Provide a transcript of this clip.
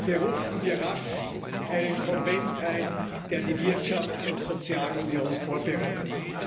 Berufen wir rasch einen Konvent ein, der die Wirtschafts und Sozialunion vorbereitet!